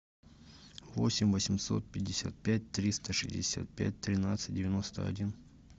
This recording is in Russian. восемь восемьсот пятьдесят пять триста шестьдесят пять тринадцать девяносто один